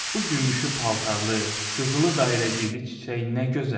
Bu gümüşü paltarlı, qızılı dairəcikli çiçək nə gözəldir!